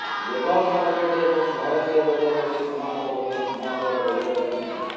global market ଏବଂ ଭାରତୀୟ ବଜାରରେ କ୍ରମାଗତ ଭାବେ ସୁନା ଦର ବଢିବାରେ ଲାଗିଛି